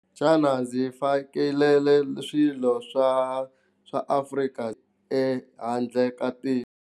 Xana ndzi fakele swilo swa swa Afrika ehandle ka tiko.